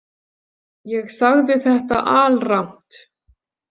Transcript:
Ég sagði þetta alrangt.